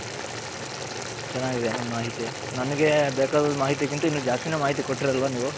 ಚೆನ್ನಾಗಿದೆ ನಿಮ್ಮ ಮಾಹಿತಿ ನನಗೆ ಬೇಕಾದದ ಮಾಹಿತಿ ಕಿಂತ ಇನ್ನು ದ್ಯಸ್ತಿನೆ ಮಾಹಿತಿ ಕೊಟ್ರ್ರಳ ನೀವು.